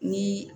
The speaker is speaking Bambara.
Ni